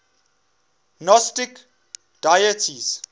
gnostic deities